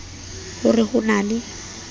ho re ho na le